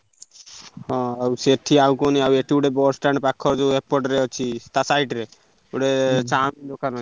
ହଁ ଆଉ ସେଠି ଆଉ କୁହନୀ ଆଉ ଏତେ ଗୁଡା bus stand ପାଖ ଯୋଉ ଏପଟ ରେ ଅଛିତା side ରେ ଗୋଟେ chow mein ଦୋକାନ ଅଛି।